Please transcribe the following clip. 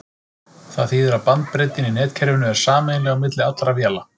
Það þýðir að bandbreiddin í netkerfinu er sameiginleg á milli allra véla.